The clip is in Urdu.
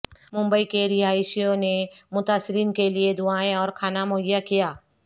ممبئی کے رہائشیوں نے متاثرین کے لیئے دعائیں اور کھانا مہیا کیا